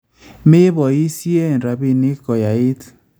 Mepoisyee rapiinik koyait